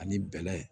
Ani bɛlɛ